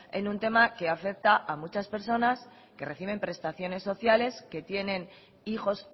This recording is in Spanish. en un tema que afecta a muchas personas que reciben prestaciones sociales que tienen hijos